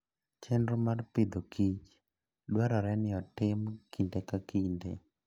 Chenro mag Agriculture and Fooddwarore ni otim kinde ka kinde.